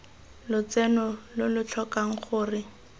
lotseno lo lo tlhokang gore